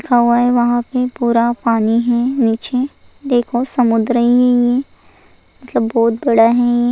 हवाएं वहां पे पूरा पानी है नीचे देखो समुद्र ही मतलब बहुत बड़ा है।